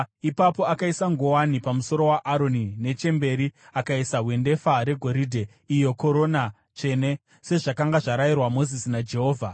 Ipapo akaisa nguwani pamusoro waAroni, nechemberi akaisa hwendefa regoridhe, iyo korona tsvene, sezvakanga zvarayirwa Mozisi naJehovha.